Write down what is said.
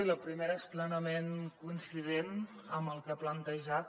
i la primera és plenament coincident amb el que ha plantejat